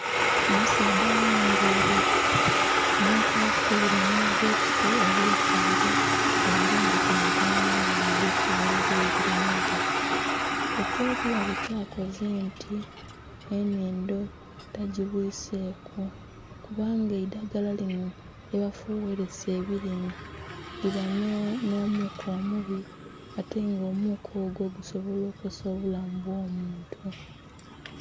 Omusaadha ayambaile enkofira nhi bbutusi, abekeire eibumba ku mugongo nga ali fugherera ebilime bye. Ekyo bulabe kyakoze nti, enhindo tagibwiseku kubanga eidhagala linho lye ba fughelesa ebilime liba nho muuka omubi ate nga omuuka ogwo gusobola okosa obulamu bwo omuntu